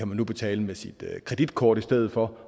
man nu betale med sit kreditkort i stedet for